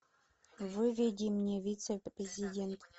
выведи мне вице президент